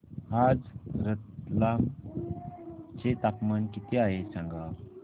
आज रतलाम चे तापमान किती आहे सांगा